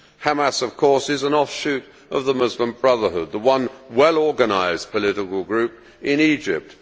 Hamas, of course, is an offshoot of the Muslim Brotherhood, the one well organised political group in Egypt.